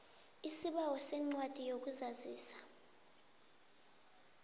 isibawo sencwadi yokuzazisa